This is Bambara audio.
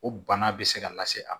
O bana bɛ se ka lase a ma